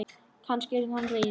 Kannski yrði hann reiður?